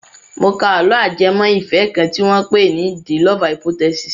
Mo ka àlọ́ ajẹmọ́ ìfẹ́ kan tí wọ́n pè ní "the love hypothesis".